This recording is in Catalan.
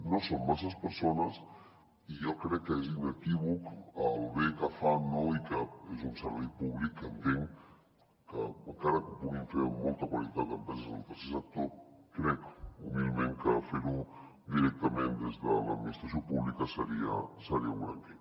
no són masses persones i jo crec que és inequívoc el bé que fan no i que és un servei públic que entenc que encara que ho puguin fer amb molta qualitat empreses del tercer sector crec humilment que fer ho directament des de l’administració pública seria un gran què